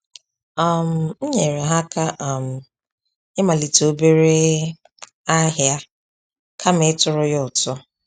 um M nyere ha aka um ịmalite obere ahịa kama ịtụrụ ya ụtụ